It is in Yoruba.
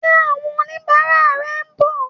Ṣé àwọn oníbàárà ẹ ń bọ̀?